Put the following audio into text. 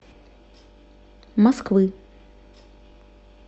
москвы